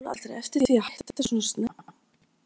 En sá hún aldrei eftir því að hætta svona snemma?